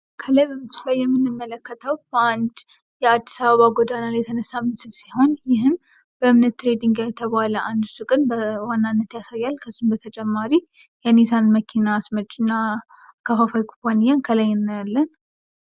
ከላይ በምስሉ የምንመለከተው የአንድ የአድስ አበባ ጎዳና ላይ የተነሳ ምስል ሲሆን ይህም በምነት ትሬዲንግ የተባለ አንድ ሱቅን በዋናነት ያሳያል ከሱም በተጨማሪ የኒሳን መኪና አስመጭና ኩባንያ እንመለከታለን።